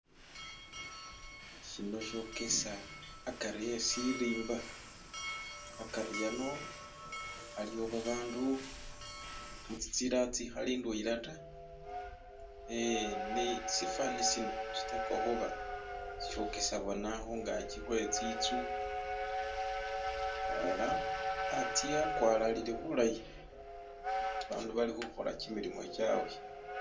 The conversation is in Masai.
Shino shogesa agati we shilimba, agati ano aliwo abantu mu zinzila izikali ndwena da ee ne mushifananyi shino shitekwa kuba shogesa bona kungaji kwenzu ela anze agwalalile bulayi . Abantu balikukola jimilimo gyawe.